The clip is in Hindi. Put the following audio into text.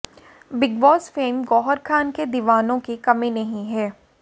big Boss fame Gauhar Khan के दीवानों की कमी नहीं है